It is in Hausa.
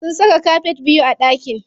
Sun saka kafet biyu a ɗakin.